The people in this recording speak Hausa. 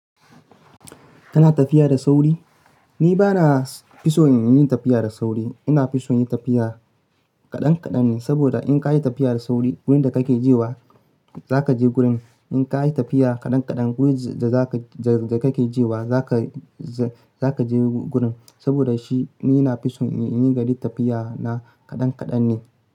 Kana tafiya da sauri? Ni bana fi son yin tafiya da sauri. Ina fi son tafiya kaɗan kaɗan ne, saboda in ka yi tafiya da sauri wurin da kake jewa zaka je gurin. In ka yi tafiya kaɗan kaɗan wurin da kake jewa zaka je gurin. Saboda shi ni ina fi son in ringa yin tafiya na kaɗan kaɗan ne.